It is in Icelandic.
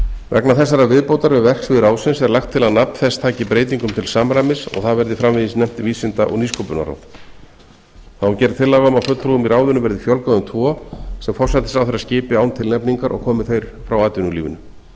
vegna þessarar viðbótar við verksvið ráðsins er lagt til að nafn þess taki breytingum til samræmis og það verði framvegis nefnt vísinda og nýsköpunarráð þá er gerð tillaga um að fulltrúum í ráðinu verði fjölgað um tvo sem forsætisráðherra skipi án tilnefningar og komi þeir frá atvinnulífinu